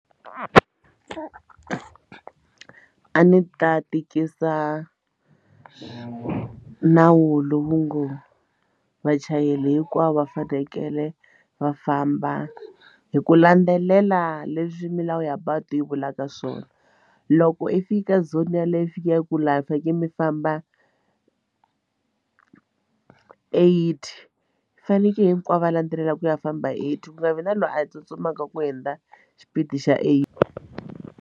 A ndzi ta tikisa nawu lowu ngo vachayeri hinkwavo va fanekele va famba hi ku landzelela leswi milawu ya patu yi vulaka swona loko i fika zone ya le yi fika yi ku laha mi fanekele mi famba eighty fanekele hinkwavo va landzelela ku ya famba eighty ku nga vi na loyi a tsutsumaka ku hundza xipidi xa eighty.